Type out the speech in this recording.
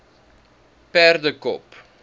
perdekop